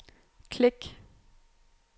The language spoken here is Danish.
klik